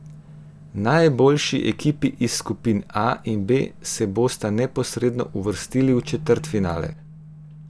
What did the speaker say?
Najboljši ekipi iz skupin A in B se bosta neposredno uvrstili v četrtfinale.